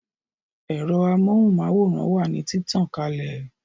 Ẹ̀rọ amóhùn máwòrán wà ní títàn kalè